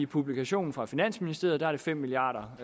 publikation fra finansministeriet er det fem milliard